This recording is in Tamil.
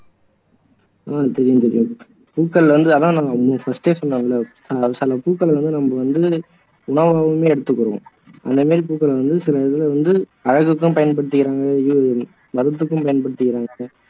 ஆஹ் தெரியும் பவி பூக்கள் வந்து அதான் நம்ம வந்து first ஏ சொன்னோம் இல்லை சில பூக்கள் வந்து நம்ம வந்து உணவாவே எடுத்துக்கிறோம் அந்த மாதிரி பூக்கள் வந்த சில இதுல வந்து அழகுக்கும் பயன்படுத்துகிறாங்க இது மருந்துக்கும் பயன்படுத்துகிறாங்க